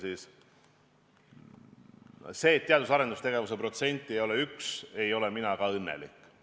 Selle üle, et teadus- ja arendustegevuse protsent ei ole 1, ei ole mina ka õnnelik.